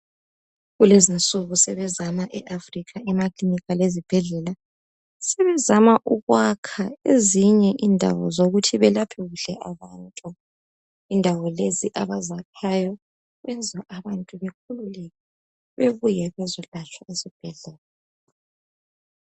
Kulezinsuku sebezama eAfrica ezibhedlela lemakilinika sebezama ukwakha ezinye indawo zokuthi belaphe kuhle abantu. Indawo lezo abazakhayo zenza abantu bekhululeke bebuye bezolatshwa esibhedlela.